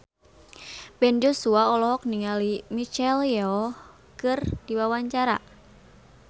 Ben Joshua olohok ningali Michelle Yeoh keur diwawancara